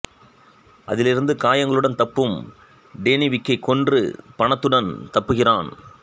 அதிலிருந்து காயங்களுடன் தப்பும் டேனி விக்கை கொன்று பணத்துடன் தப்புகிறான்